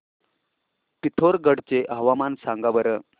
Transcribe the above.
पिथोरगढ चे हवामान सांगा बरं